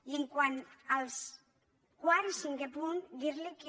i quant als quart i cinquè punts dir li que